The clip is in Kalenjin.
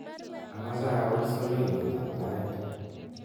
Amache awal soloiwetab tait